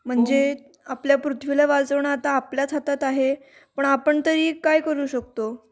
म्हणजे आपल्या पृथ्वीला वाचवणं आता आपल्याच हातात आहे पण आपण तरी काय करू शकतो?